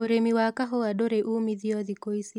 Ūrĩmi wa kahũa ndũrĩ uumithio thikũ ici